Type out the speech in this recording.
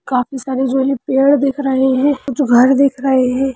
काफी सारे जो है पेड़ दिख रहे हैं कुछ घर दिख रहे हैं।